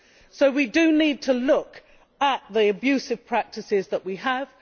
So we do need to look at the abusive practices that we have.